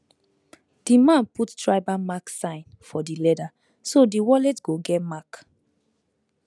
the man put tribal mark sign for the leather so the wallet go get mark